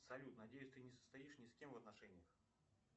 салют надеюсь ты не состоишь ни с кем в отношениях